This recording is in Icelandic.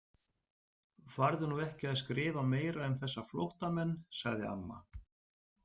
Farðu nú ekki að skrifa meira um þessa flóttamenn, sagði amma.